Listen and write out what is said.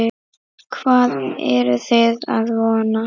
Hvað eruð þið að vona?